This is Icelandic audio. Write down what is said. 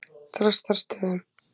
Þrastarstöðum